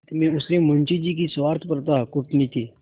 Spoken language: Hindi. अंत में उसने मुंशी जी की स्वार्थपरता कूटनीति